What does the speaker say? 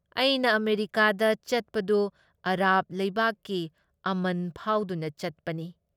ꯑꯩꯅ ꯑꯃꯦꯔꯤꯀꯥꯗ ꯆꯠꯄꯗꯨ ꯑꯥꯔꯕ ꯂꯩꯕꯥꯛꯀꯤ ꯑꯃꯟ ꯐꯥꯎꯗꯨꯅ ꯆꯠꯄꯅꯤ ꯫